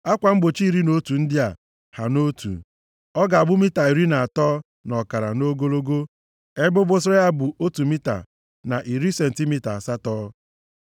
Akwa mgbochi iri na otu ndị a ha nʼotu. Ọ ga-abụ mita iri na atọ na ọkara nʼogologo, ebe obosara ya bụ otu mita na iri sentimita asatọ.